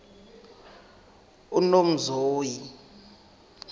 unomzoyi